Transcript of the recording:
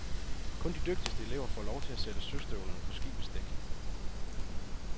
Kun de dygtigste elever får lov til at sætte søstøvlerne på skibets dæk.